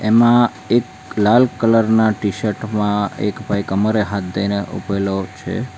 જેમાં એક લાલ કલર ના ટીશર્ટ માં એક ભાઈ કમરે હાથ દઈને ઉભેલો છે.